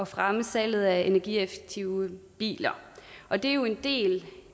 fremme salget af energieffektive biler og det jo en del